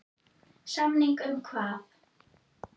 Samning um hvað?